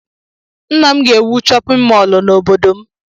Nna m ga-ewu chọpịn mọọlụ n'obodo m.